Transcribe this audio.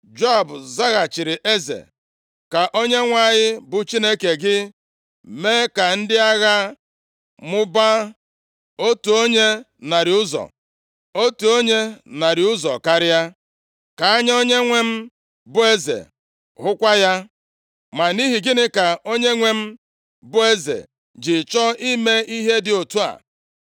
Joab zaghachiri eze, “Ka Onyenwe anyị bụ Chineke gị, mee ka ndị agha mụbaa, otu onye narị ụzọ, otu onye narị ụzọ karịa. Ka anya onyenwe m, bụ eze, hụkwa ya. Ma nʼihi gịnị ka onyenwe m bụ eze ji chọọ ime ihe dị otu a?”